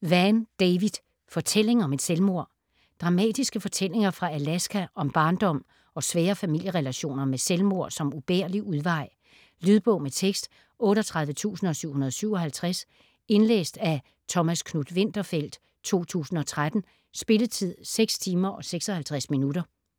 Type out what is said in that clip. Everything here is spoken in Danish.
Vann, David: Fortælling om et selvmord Dramatiske fortællinger fra Alaska om barndom og svære familierelationer med selvmord som ubærlig udvej. Lydbog med tekst 38757 Indlæst af Thomas Knuth-Winterfeldt, 2013. Spilletid: 6 timer, 56 minutter.